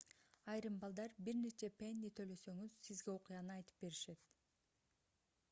айрым балдар бир нече пенни төлөсөңүз сизге окуяны айтып беришет